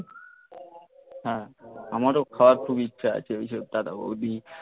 হ্যাঁ আমারও খাওয়ার খুব ইচ্ছা আছে ওইসব তারা বৌদি